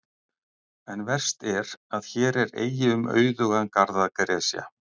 En verst er, að hér er eigi um auðugan garð að gresja.